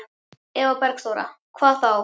Eva Bergþóra: Hvað þá?